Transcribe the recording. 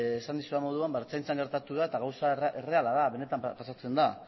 esan dizudan moduan ertzaintzan gertatu da eta gauza erreala da benetan pasatzen da